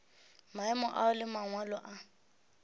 maemo ao le mangwalo a